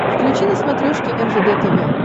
включи на смотрешке ржд тв